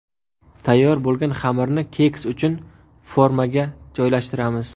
Tayyor bo‘lgan xamirni keks uchun formaga joylashtiramiz.